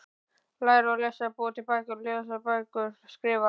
Læra að lesa- búa til bækur- lesa bækur- skrifa